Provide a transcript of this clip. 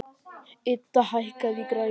Idda, hækkaðu í græjunum.